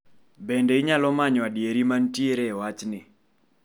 Bende inyalo manyo adieri mantiere e wachni?